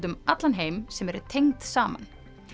um allan heim sem eru tengd saman